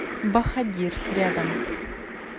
бахадир рядом